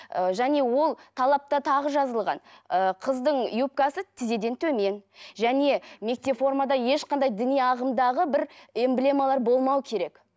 ы және ол талапта тағы жазылған ы қыздың юбкасы тізеден төмен және мектеп формада ешқандай діни ағымдағы бір эмблемалар болмау керек